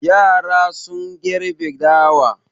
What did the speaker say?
Yara sun gerbe dawa.